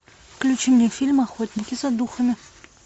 включи мне фильм охотники за духами